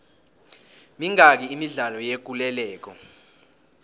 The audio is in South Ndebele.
mingaki imidlalo yekuleleko